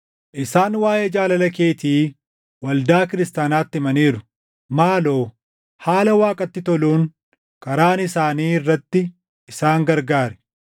Isaan waaʼee jaalala keetii waldaa kiristaanaatti himaniiru. Maaloo haala Waaqatti toluun karaan isaanii irratti isaan gargaari.